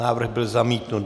Návrh byl zamítnut.